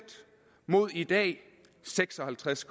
mod i dag seks og halvtreds